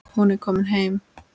Hún er komin heim.